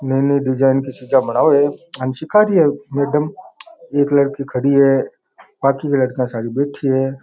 नए नए डिजाइन का शीशा बनावे है हाँ सिका री है मैडम एक लड़की खड़ी है बाकी लड़कियां सारी बैठी है।